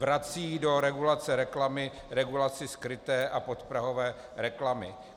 Vrací do regulace reklamy regulaci skryté a podprahové reklamy.